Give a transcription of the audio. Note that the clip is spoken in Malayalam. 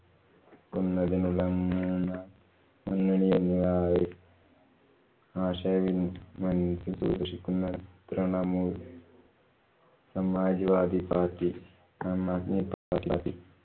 ക്കുന്നതിനുള്ള മൂന്നാം മുന്നണി എല്ലാ ആശയ വിന്‍ ഷിക്കുന്ന Trinamool‍, Samajwadi party, Aam Aadmi party